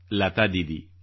Lata Didi